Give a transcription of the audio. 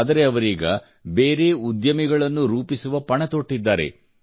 ಆದರೆ ಅವರೀಗ ಬೇರೆ ಉದ್ಯಮಿಗಳನ್ನು ರೂಪಿಸುವ ಪಣ ತೊಟ್ಟಿದ್ದಾರೆ